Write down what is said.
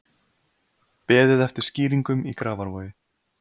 Beðið eftir skýringum í Grafarvogi